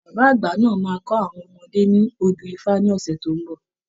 Bàbá àgbà náà máa kọ àwọn ọmọdé ní àwọn odù ifá ní oṣù tó ń bọ̀.